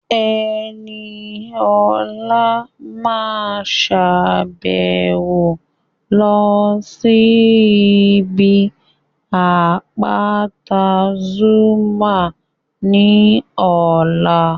Ẹniọlá máa sàbẹ̀wo lọ sí ibi àpáta Zuma ní ọ̀la